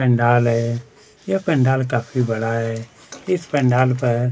यह पंडाल है काफी पंडाल बड़ा है इस पंडाल पर--